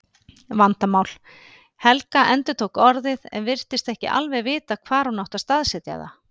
Vandamál. Helga endurtók orðið en virtist ekki alveg vita hvar hún átti að staðsetja það.